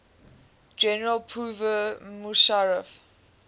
general pervez musharraf